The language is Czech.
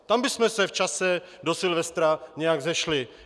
Tam bychom se v čase do Silvestra nějak sešli.